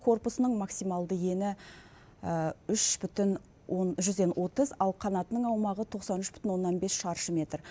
корпусының максималды ені үш бүтін жүзден отыз ал қанатының аумағы тоқсан үш бүтін оннан бес шаршы метр